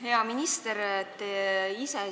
Hea minister!